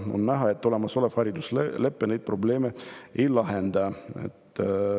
On näha, et olemasolev hariduslepe neid probleeme ei lahenda.